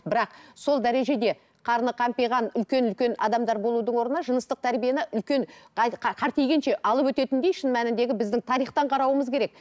бірақ сол дәрежеде қарны қампиған үлкен үлкен адамдар болудың орнына жыныстық тәрбиені үлкен алып өтетіндей шын мәніндегі біздің тарихтан қарауымыз керек